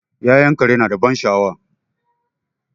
Ya'yan kare nada ban sha'awa